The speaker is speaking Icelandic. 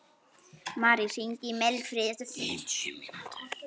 Marí, hringdu í Mildfríði eftir fimmtíu mínútur.